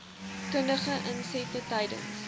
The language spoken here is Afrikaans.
kundige insette tydens